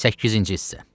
Səkkizinci hissə.